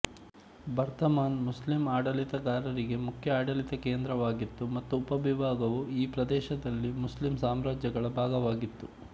ಬರ್ಧಮಾನ್ ಮುಸ್ಲಿಂ ಆಡಳಿತಗಾರರಿಗೆ ಮುಖ್ಯ ಆಡಳಿತ ಕೇಂದ್ರವಾಗಿತ್ತು ಮತ್ತು ಉಪವಿಭಾಗವು ಈ ಪ್ರದೇಶದಲ್ಲಿ ಮುಸ್ಲಿಂ ಸಾಮ್ರಾಜ್ಯಗಳ ಭಾಗವಾಗಿತ್ತು